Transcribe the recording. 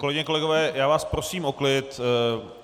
Kolegyně, kolegové, já vás prosím o klid.